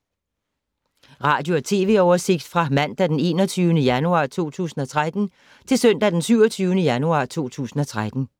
Radio/TV oversigt fra mandag d. 21. januar 2013 til søndag d. 27. januar 2013